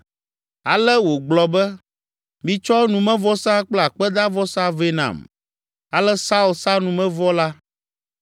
Ale wògblɔ be, “Mitsɔ numevɔsa kple akpedavɔsa vɛ nam.” Ale Saul sa numevɔ la.